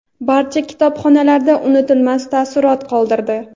barcha kitobxonlarda unutilmas taassurot qoldirdi.